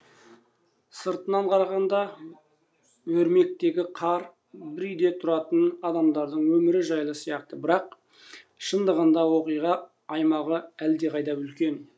сыртынан қарағанда өрмектегі қар бір үйде тұратын адамдардың өмірі жайлы сияқты бірақ шындығында оқиға аймағы әлдеқайда үлкен